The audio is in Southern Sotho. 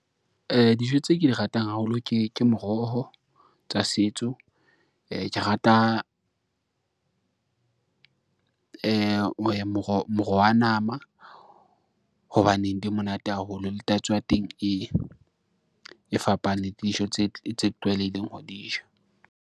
Dijo tseo ke di ratang haholo, ke moroho tsa setso, ke rata moro wa nama. Hobaneng di monate haholo le tatso ya teng e fapane ke dijo tse tlwaelehileng ho di ja.